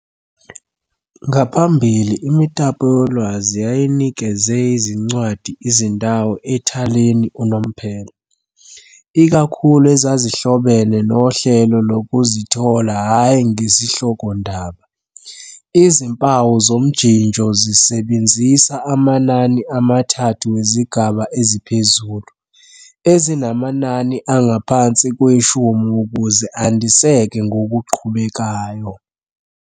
Ngaphambili imitapolwazi yayinikeze izincwadi izindawo ethaleni unomphela, ikakhulu ezazihlobene nohlelo lokuzithola hhayi ngesihlokondaba. Izimpawu zomjinjo zisebenzisa amanani amathathu wezigaba eziphezulu, ezinamanani angaphansi kweshumi ukuze andiseke ngokuqhubekayo.